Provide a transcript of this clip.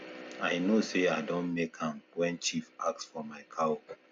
i know say i don make am when chief ask for my cow